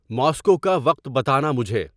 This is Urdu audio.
ماسکو کا وقت بتانا مجھے